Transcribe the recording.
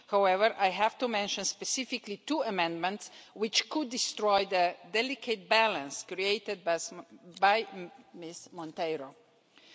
However, I have to mention specifically two amendments which could destroy the delicate balance created by Ms Monteiro de Aguiar.